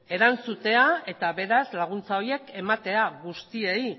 erantzutea eta beraz laguntza horiek ematea guztiei